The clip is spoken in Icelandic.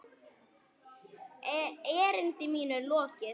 Erindi mínu er lokið!